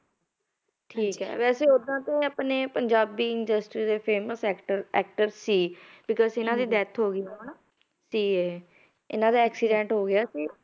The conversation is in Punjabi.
ਠੀਕ ਹੈ ਵੈਸੇ ਓਦਾਂ ਤਾਂ ਇਹ ਆਪਣੇ ਪੰਜਾਬੀ industry ਦੇ famous actor actor ਸੀ because ਇਹਨਾਂ ਦੀ death ਹੋ ਗਈ ਹੈ ਹੁਣ, ਤੇ ਇਹਨਾਂ ਦਾ accident ਹੋ ਗਿਆ ਸੀ